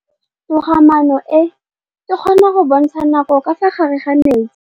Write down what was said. Toga-maanô e, e kgona go bontsha nakô ka fa gare ga metsi.